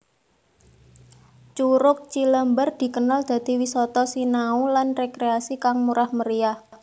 Curug Cilember dikenal dadi wisata sinau lan rekreasi kang murah meriah